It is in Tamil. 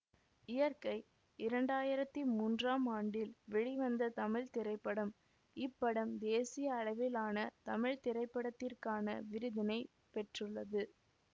இயற்கை இரண்டாயிரத்தி மூன்றாம் ஆண்டில் வெளிவந்த தமிழ் திரைப்படம் இப்படம் தேசிய அளவிலான தமிழ் திரைப்படத்திற்கான விருதினை பெற்றுள்ளது